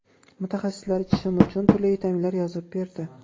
Mutaxassislar ichishim uchun turli vitaminlar yozib berdi.